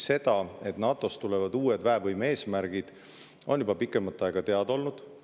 See, et NATO-s tulevad uued väevõime eesmärgid, on juba pikemat aega teada olnud.